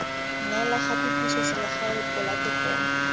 neela gape puso selegae polatefomo